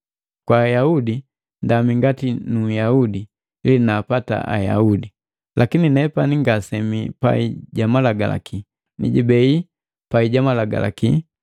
Kwa Ayaudi ndami ngati Nuyahudi ili naapata Ayaudi, lakini nepani ngasemii pai ja malagalaki, nijibei pai ja malagalaki, ili naapata haba babii pai ja malagalaki.